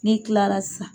Ne kilara sisan